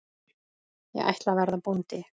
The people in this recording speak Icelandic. Ég ætla að verða bóndi